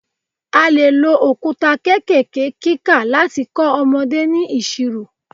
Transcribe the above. A lè lo òkúta kékèké kíkà láti kọ́ ọmọdé ní ìṣirò.